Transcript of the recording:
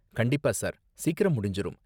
கண்டிப்பா சார், சீக்கிரம் முடிஞ்சுரும்.